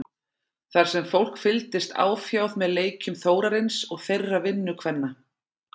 Þar sem fólk fylgdist áfjáð með leikjum Þórarins og þeirra vinnukvenna.